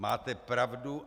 Máte pravdu.